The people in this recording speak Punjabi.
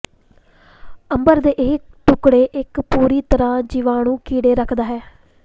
ਅੰਬਰ ਦੇ ਇਹ ਟੁਕੜੇ ਇੱਕ ਪੂਰੀ ਤਰ੍ਹਾਂ ਜੀਵਾਣੂ ਕੀੜੇ ਰੱਖਦਾ ਹੈ